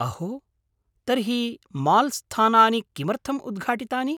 अहो! तर्हि माल्स्थानानि किमर्थम् उद्घाटितानि?